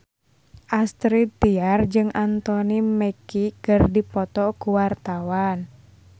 Astrid Tiar jeung Anthony Mackie keur dipoto ku wartawan